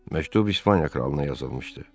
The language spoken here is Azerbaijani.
Məktub İspaniya kralına yazılmışdı.